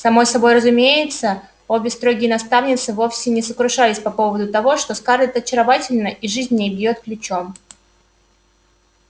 само собой разумеется обе строгие наставницы вовсе не сокрушались по поводу того что скарлетт очаровательна и жизнь в ней бьёт ключом